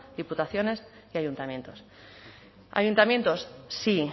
diputaciones y ayuntamientos ayuntamientos sí